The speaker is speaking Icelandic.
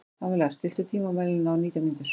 Pamela, stilltu tímamælinn á nítján mínútur.